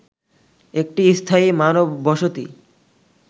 একটি স্থায়ী মানববসতি